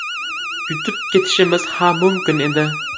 Yutib ketishimiz ham mumkin edi.